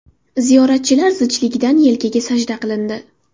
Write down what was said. Ziyoratchilar zichligidan yelkaga sajda qilindi.